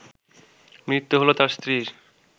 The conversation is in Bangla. মৃত্যু হলো তার স্ত্রীর